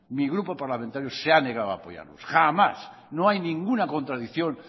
mi grupo parlamentario se ha negado a apoyar jamás no hay ninguna contradicción